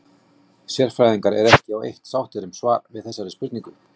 Sérfræðingar eru ekki á eitt sáttir um svar við þessari spurningu.